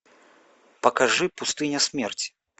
покажи пустыня смерти